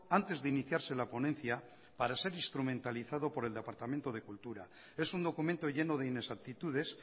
antes de iniciarse la ponencia para ser instrumentalizado por el departamento de cultura es un documento lleno de inexactitudes